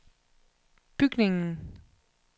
bygningen